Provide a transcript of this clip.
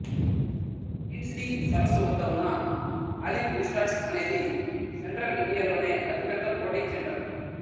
ఖిండ్సీ సరస్సు వద్ద ఉన్న ఆలివ్ రిసార్ట్స్ అనేది సెంట్రల్ ఇండియాలోనే అతిపెద్ద బోటింగ్ సెంటర్